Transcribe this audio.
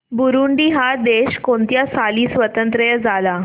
Burundi हा देश कोणत्या साली स्वातंत्र्य झाला